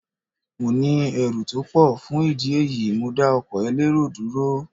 Mo ní ẹrù tó pọ̀, fún ìdí èyí, mo dá ọkọ̀ elérò dúró.